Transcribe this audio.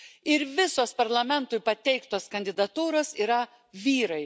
Ir visos Parlamentui pateiktos kandidatūros yra vyrai.